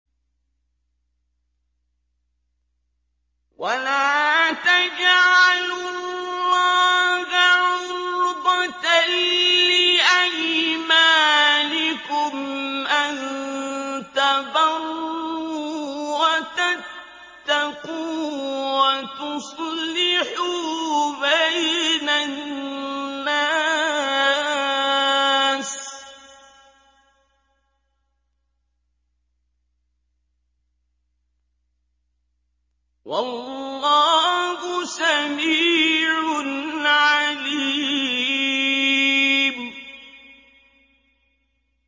وَلَا تَجْعَلُوا اللَّهَ عُرْضَةً لِّأَيْمَانِكُمْ أَن تَبَرُّوا وَتَتَّقُوا وَتُصْلِحُوا بَيْنَ النَّاسِ ۗ وَاللَّهُ سَمِيعٌ عَلِيمٌ